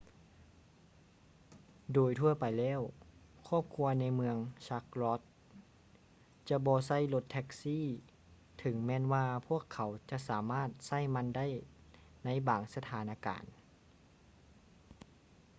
ໂດຍທົ່ວໄປແລ້ວ ຄອບຄົວໃນເມືອງ ຊັກລັອດ charlotte ຈະບໍ່ໃຊ້ລົດແທ໊ກຊີ ເຖິງແມ່ນວ່າພວກເຂົາຈະສາມາດໃຊ້ມັນໄດ້ໃນບາງສະຖານະການ